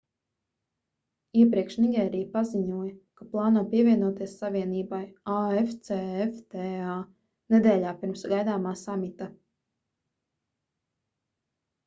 iepriekš nigērija paziņoja ka plāno pievienoties savienībai afcfta nedēļā pirms gaidāmā samita